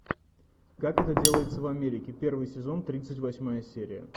как это делается в америке первый сезон тридцать восьмая серия